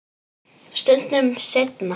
Stundum seinna.